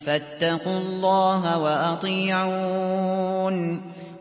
فَاتَّقُوا اللَّهَ وَأَطِيعُونِ